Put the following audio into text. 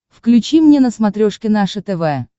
включи мне на смотрешке наше тв